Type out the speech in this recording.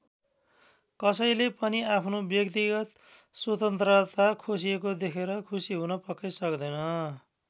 कसैले पनि आफ्नो व्यक्तिगत स्वतन्त्रता खोसिएको देखेर खुसी हुन पक्कै सक्दैन।